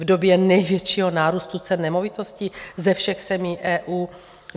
V době největšího nárůstu cen nemovitostí ze všech zemí EU?